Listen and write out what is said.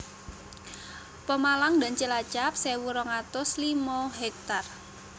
Pemalang dan Cilacap sewu rong atus limo ha